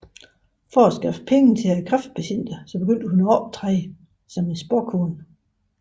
For at skaffe penge til kræftpatienter begyndte hun at optræde som spåkone